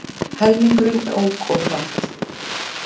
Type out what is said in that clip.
Helmingurinn ók of hratt